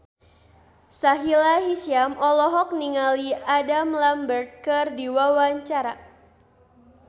Sahila Hisyam olohok ningali Adam Lambert keur diwawancara